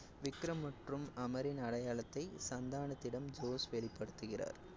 விக்ரம் மற்றும் அமரின் அடையாளத்தை சந்தானத்திடம் ஜோஸ் வெளிப்படுத்துகிறார்.